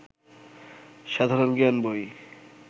সাধারণ জ্ঞান বই